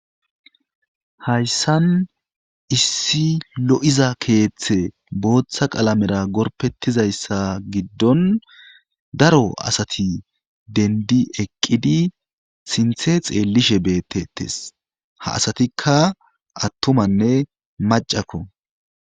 Hayssan issi lo'iza keeththe booththa qalamera gorpetizayssa giddon daro asati dendi eqqidi sinthe xeellishe beettettes ha asatikka attumanne macakko.